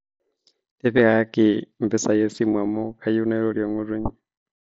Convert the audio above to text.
tipikaki mpisai esimu amuu kayeu nairori ngutunyi